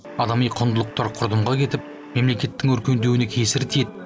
адами құндылықтар құрдымға кетіп мемлекеттің өркендеуіне кесірі тиеді